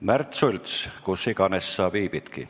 Märt Sults, kus iganes sa viibidki.